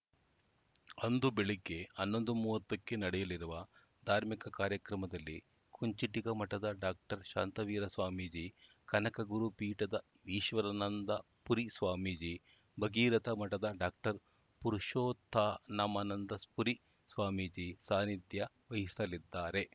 ಅಂದು ಬೆಳಗ್ಗೆ ಹನ್ನೊಂದು ಮೂವತ್ತಕ್ಕೆ ನಡೆಯಲಿರುವ ಧಾರ್ಮಿಕ ಕಾರ್ಯಕ್ರಮದಲ್ಲಿ ಕುಂಚಿಟಿಗ ಮಠದ ಡಾಕ್ಟರ್ ಶಾಂತವೀರ ಸ್ವಾಮೀಜಿ ಕನಕಗುರುಪೀಠದ ಈಶ್ವರಾನಂದ ಪುರಿ ಸ್ವಾಮೀಜಿ ಭಗೀರಥ ಮಠದ ಡಾಕ್ಟರ್ ಪುರುಷೋತ್ತನಮಾನಂದ ಪುರಿ ಸ್ವಾಮೀಜಿ ಸಾನಿಧ್ಯ ವಹಿಸಲಿದ್ದಾರೆ